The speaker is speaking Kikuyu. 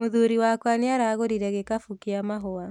Mũthuri wakwa nĩaragũrire gĩkabũ kĩa mahũa